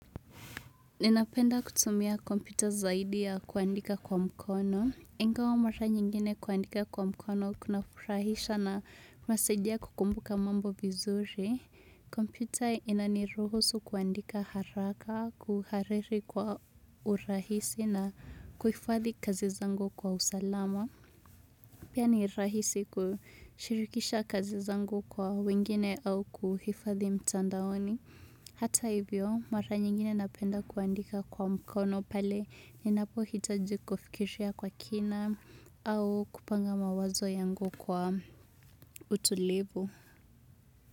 Ninapenda kutumia kompyuta zaidi ya kuandika kwa mkono ingawa mara nyingine kuandika kwa mkono kunarahisisha na kusaidia kukumbuka mambo vizuri. Kompyuta inaniruhusu kuandika haraka, kuhariri kwa urahisi na kuhifadhi kazi zangu kwa usalama. Pia ni rahisi kushirikisha kazi zangu kwa wengine au kuhifadhi mtandaoni. Hata hivyo mara nyingine napenda kuandika kwa mkono pale ninapohitaji kufikishia kwa kina au kupanga mawazo yangu kwa utulivu.